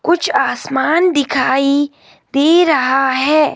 कुछ आसमान दिखाई दे रहा है।